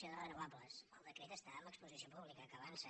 generació de renovables el decret està en exposició pública que avança